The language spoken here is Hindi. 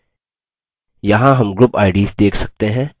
यहाँ हम group ids देख सकते हैं